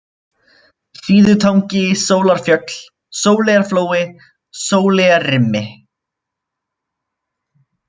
Síðutangi, Sólarfjöll, Sóleyjarflói, Sóleyjarrimi